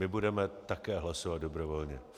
My budeme také hlasovat dobrovolně.